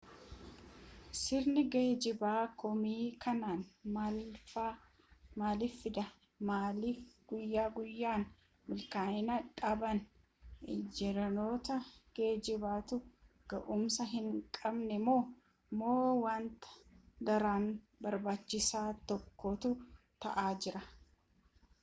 sirni geejjibaa komii akkanaa maaliif fida maaliif guyyaa guyyaan milkaa'ina dhaban injinaroota geejjibaatu ga'umsa hin qabani moo moo wanta daran barbaachisaa tokkootu ta'aa jira